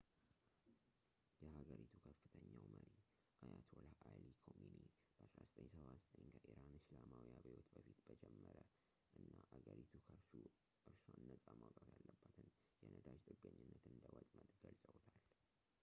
የሀገሪቱ ከፍተኛው መሪ አያቶላህ አሊ ኮሚኒ በ1979 ከኢራን እስላማዊ አብዮት በፊት የጀመረ እና አገሪቱ ከርሱ እራሷን ነጻ ማውጣት ያለባትን የነዳጅ ጥገኝነት እንደ ወጥመድ ገልፀውታል